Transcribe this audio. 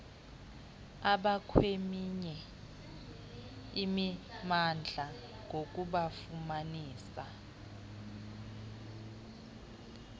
abakweminye imimandla ngokubafumanisa